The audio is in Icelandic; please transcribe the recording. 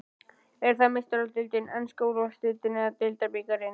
Er það Meistaradeildin, enska úrvalsdeildin eða deildarbikarinn?